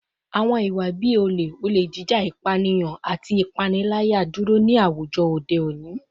Awọn iwa-ipa bii ole, ole jija, ipaniyan, ati ipanilaya duro ni awujọ ode oni